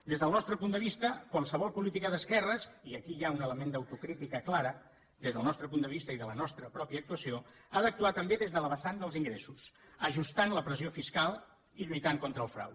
des del nostre punt de vista qualsevol política d’esquerres i aquí hi ha un element d’autocrítica clara des del nostre punt de vista i de la nostra pròpia actuació ha d’actuar també des de la vessant dels ingressos ajustant la pressió fiscal i lluitant contra el frau